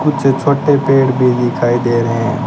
मुझे छोटे पेड़ भी दिखाई दे रहे हैं।